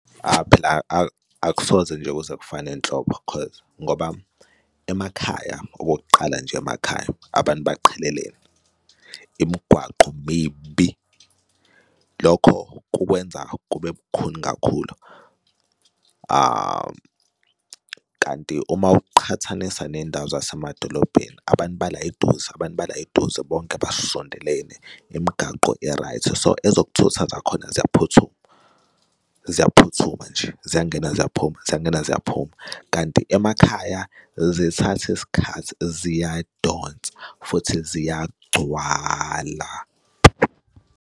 Phela akusoze nje kuze kufane nhlobo 'cause ngoba emakhaya okokuqala nje emakhaya abantu baqhelelene imigwaqo mibi. Lokho kukwenza kube lukhuni kakhulu kanti uma uqhathanisa ney'ndawo zasemadolobheni abantu bala eduze, abantu bala eduze bonke basondelene imigaqo i-right so, ezokuthutha khona ziyaphuthuma, ziyaphuthuma nje ziyangena, ziyaphuma, ziyangena, ziyaphuma kanti emakhaya zithathe isikhathi ziyadonsa futhi ziyagcwala.